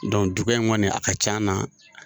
dugu in kɔni a ka ca an na